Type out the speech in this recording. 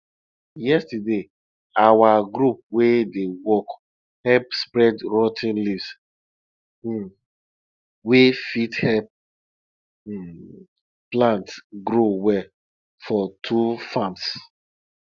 yesterday our group wey dey work help spread rot ten leaves um wey fit help um plants grow well for two farms